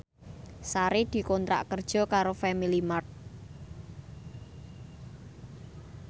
Sari dikontrak kerja karo Family Mart